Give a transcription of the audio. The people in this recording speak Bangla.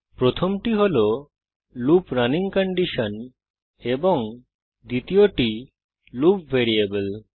প্রথমটি হল লুপ রানিং কন্ডিশন এবং দ্বিতীয়টি লুপ ভেরিয়েবল